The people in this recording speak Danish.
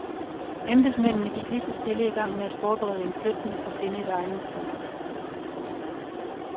Embedsmændene gik lige så stille i gang med at forberede en flytning og finde et egnet sted.